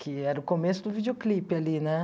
que era o começo do videoclipe ali, né?